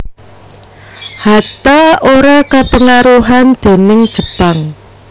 Hatta ora kapengaruhan déning Jepang